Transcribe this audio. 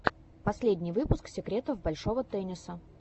последний выпуск секретов большого тенниса